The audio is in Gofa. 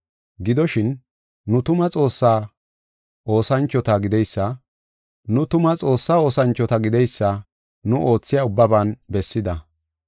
Gidoshin, nu tuma Xoossaa oosanchota gideysa nu oothiya ubbaban bessida. Daro gencan, waayen, meton, un7an,